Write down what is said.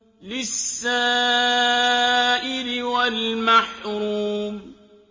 لِّلسَّائِلِ وَالْمَحْرُومِ